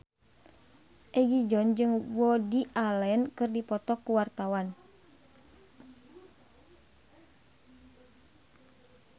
Egi John jeung Woody Allen keur dipoto ku wartawan